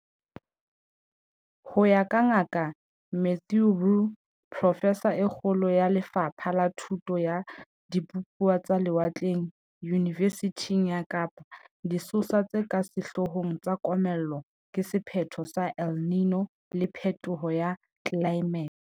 Ho ya ka Ngaka Mathieu Roualt, profesa e kgolo ya Le fapha la Thuto ya Dibupuwa tsa Lewatleng Yunivesithing ya Kapa, disosa tse ka sehloo hong tsa komello ke sephetho sa El Niño le phethoho ya tlelaemete.